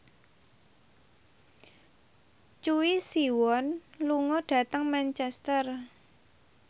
Choi Siwon lunga dhateng Manchester